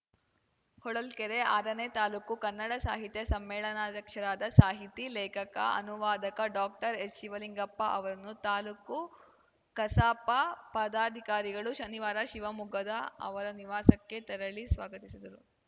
ಹೊಳಲ್ಕೆರೆ ಆರನೇ ತಾಲೂಕು ಕನ್ನಡ ಸಾಹಿತ್ಯ ಸಮ್ಮೇಳನಾಧ್ಯಕ್ಷರಾದ ಸಾಹಿತಿ ಲೇಖಕ ಅನುವಾದಕ ಡಾಕ್ಟರ್ಎಚ್‌ಶಿವಲಿಂಗಪ್ಪ ಅವರನ್ನು ತಾಲೂಕು ಕಸಾಪ ಪದಾಧಿಕಾರಿಗಳು ಶನಿವಾರ ಶಿವಮೊಗ್ಗದ ಅವರ ನಿವಾಸಕ್ಕೆ ತೆರಳಿ ಸ್ವಾಗತಿಸಿದರು